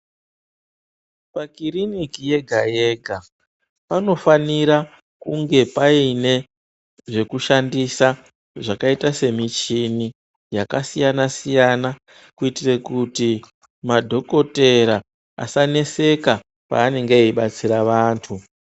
Pakuiriniki yega yega panofanire kunge paine zvekushandisa zvakaita semichini yakasiyana-siyana, kuitire kuti madhokotera asaneseka peanenge eidetsera vantu.